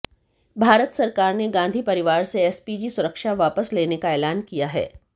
भारत सरकार ने गांधी परिवार से एसपीजी सुरक्षा वापस लेने का एलान किया है